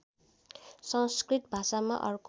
संस्कृत भाषामा अर्क